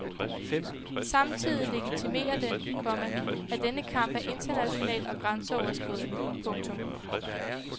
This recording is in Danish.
Samtidig legitimerer den, komma at denne kamp er international og grænseoverskridende. punktum